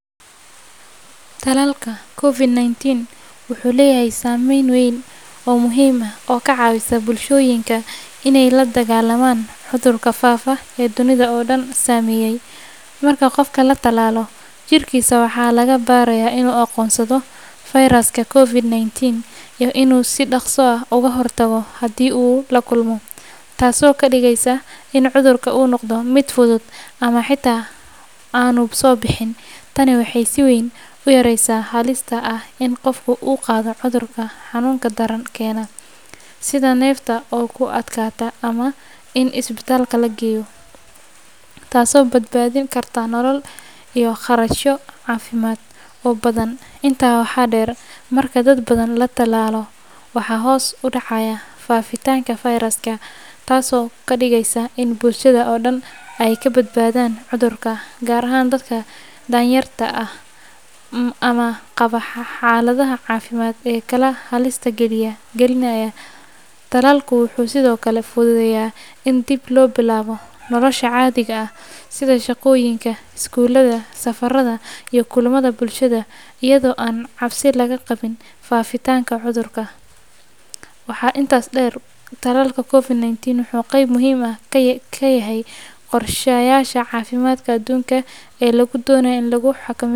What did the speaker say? Tallaalka COVID-19 wuxuu leeyahay saameyn weyn oo muhiim ah oo ka caawisa bulshooyinka inay la dagaallamaan cudurka faafa ee dunida oo dhan saameeyay. Marka qofka la tallaalo, jirkiisa waxaa la barayaa inuu aqoonsado fayraska COVID-19 iyo inuu si dhaqso ah uga hortago haddii uu la kulmo, taasoo ka dhigaysa in cudurka uu noqdo mid fudud ama xitaa aanu soo bixin. Tani waxay si weyn u yareysaa halista ah in qofka uu qaado cudurka xanuunka daran keena, sida neefta oo ku adkaata ama in isbitaal la geeyo, taasoo badbaadin karta nolol iyo kharashyo caafimaad oo badan. Intaa waxaa dheer, marka dad badan la tallaalo, waxaa hoos u dhacaya faafitaanka fayraska, taasoo ka dhigaysa in bulshada oo dhan ay ka badbaadaan cudurka, gaar ahaan dadka danyarta ah ama qaba xaaladaha caafimaad ee kale ee halista gelinaya. Tallaalku wuxuu sidoo kale fududeeyaa in dib loo bilaabo nolosha caadiga ah, sida shaqooyinka, iskuulada, safarada, iyo kulamada bulshada, iyadoo aan cabsi laga qabin faafitaanka cudurka. Waxaa intaas dheer, tallaalka COVID-19 wuxuu qayb muhiim ah ka yahay qorshayaasha caafimaadka adduunka ee lagu doonayo in lagu xakameeyo.